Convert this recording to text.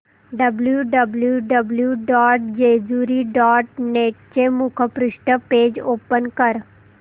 W W W dot Jejuri dot net चे मुखपृष्ठ page open कर